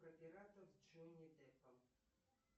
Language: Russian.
про пиратов с джонни деппом